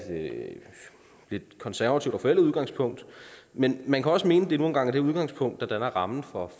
lidt konservativt og forældet udgangspunkt men man kan også mene at det nu engang er det udgangspunkt der danner rammen for